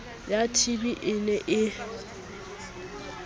ya tb e ne e